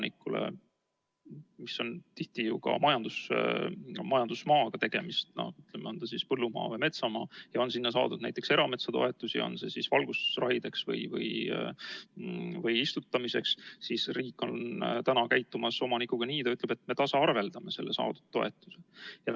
Riik ütleb maaomanikule, kelle omandi puhul on tihti tegemist majandusmaaga, on see siis põllumaa või metsamaa, ja kes on saanud erametsatoetusi, näiteks valgustusraideks või istutamiseks – riik ütleb talle nii, et me tasaarveldame saadud toetuse.